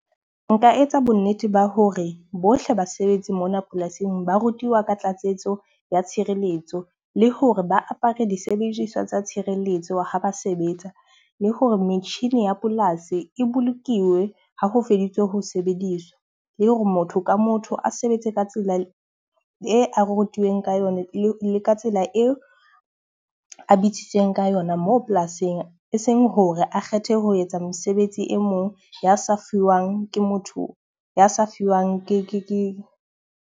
Nka etsa bo nnete ba hore bohle basebetsi mona polasing, ba rutiwa ka tlatsetso ya tshireletso le hore ba apare disebediswa tsa tshireletso ha ba sebetsa. Le hore metjhini ya polasi e bolokilwe ha ho feditse ho sebediswa. Le hore motho ka motho a sebetse ka tsela e a rutuweng ka yona le ka tsela eo a bitsitsweng ka yona moo polasing e seng hore a kgethe ho etsa mesebetsi e mong ya sa fuwang ke motho, ya sa fiwang ke .